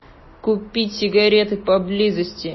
купить сигареты поблизости